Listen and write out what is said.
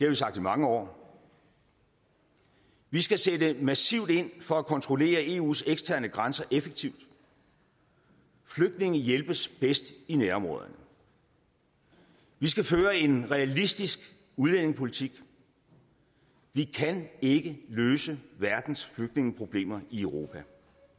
vi sagt i mange år vi skal sætte massivt ind for at kontrollere eus eksterne grænser effektivt flygtninge hjælpes bedst i nærområderne vi skal føre en realistisk udlændingepolitik vi kan ikke løse verdens flygtningeproblemer i europa